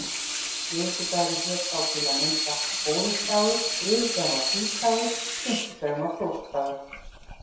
Miðvikudagurinn hét þá til að mynda óðinsdagur, þriðjudagur var týsdagur og fimmtudagur var þórsdagur.